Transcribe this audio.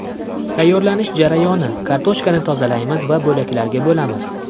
Tayyorlanish jarayoni: Kartoshkani tozalaymiz va bo‘laklarga bo‘lamiz.